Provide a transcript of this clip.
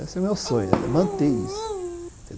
Esse é o meu sonho, manter isso.